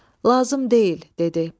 Lazım deyil", dedi.